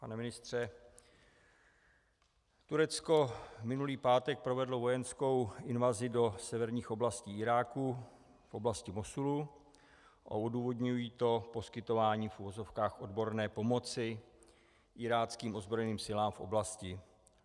Pane ministře, Turecko minulý pátek provedlo vojenskou invazi do severních oblastí Iráku v oblasti Mosulu a odůvodňují to poskytováním v uvozovkách odborné pomoci iráckým ozbrojeným silám v oblasti.